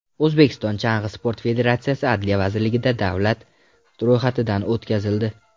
O‘zbekiston Chang‘i sporti federatsiyasi Adliya vazirligida davlat ro‘yxatidan o‘tkazildi.